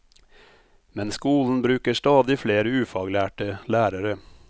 Men skolen bruker stadig flere ufaglærte lærere.